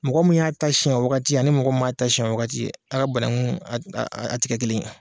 Mɔgɔ min y'a ta siɲɛ o wagati ani mɔgɔ min man a ta siɲɛ o wagati a ka banagun a a a ti kɛ kelen ye.